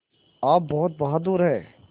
आप बहुत बहादुर हैं